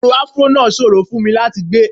Irun afró náà ṣòro fún mi láti gbé